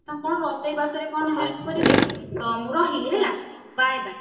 କଣ ରୋଷେଇ ବାସରେ କଣ help କରିବି ତ ମୁଁ ରହିଲି ହେଲା bye bye